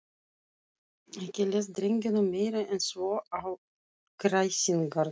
Ekki leist drengjunum meira en svo á kræsingarnar.